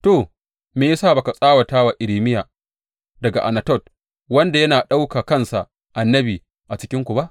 To, me ya sa ba ka tsawata wa Irmiya daga Anatot, wanda yana ɗauka kansa annabi a cikinku ba?